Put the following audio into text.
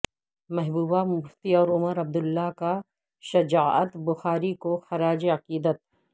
محبوبہ مفتی اور عمر عبداللہ کا شجاعت بخاری کو خراج عقیدت